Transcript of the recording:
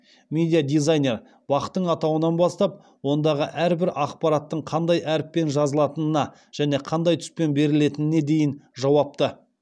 медиа дизайнер бақ тың атауынан бастап ондағы әрбір ақпараттың қандай әріппен жазылатынына және қандай түспен берілетініне дейін жауапты